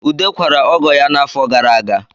Ude kwara ọgọ ya n'afọ gara aga